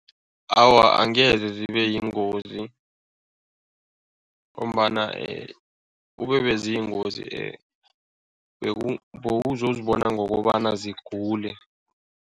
Awa, angeze zibe yingozi ngombana kube beziyingozi bewuzozibona ngokobana zigule.